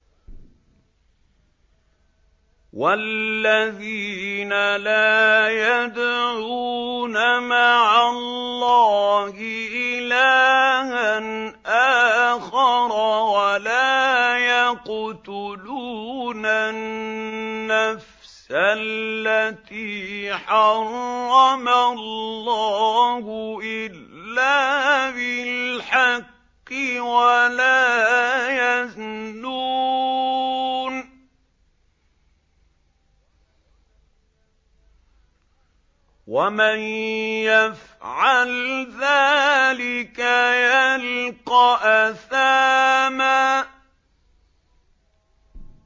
وَالَّذِينَ لَا يَدْعُونَ مَعَ اللَّهِ إِلَٰهًا آخَرَ وَلَا يَقْتُلُونَ النَّفْسَ الَّتِي حَرَّمَ اللَّهُ إِلَّا بِالْحَقِّ وَلَا يَزْنُونَ ۚ وَمَن يَفْعَلْ ذَٰلِكَ يَلْقَ أَثَامًا